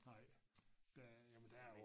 Nej der jamen der er jo